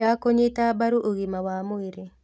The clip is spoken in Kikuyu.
Ya kũnyita mbaru ũgima wa mwĩrĩ